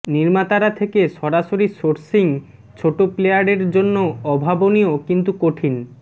নির্মাতারা থেকে সরাসরি সোসিং ছোট প্লেয়ারের জন্য অভাবনীয় কিন্তু কঠিন